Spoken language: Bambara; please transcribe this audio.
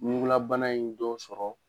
Ɲugulabana in dɔ sɔrɔ